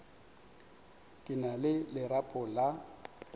ke na le lerapo la